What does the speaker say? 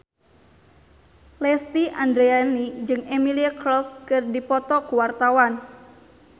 Lesti Andryani jeung Emilia Clarke keur dipoto ku wartawan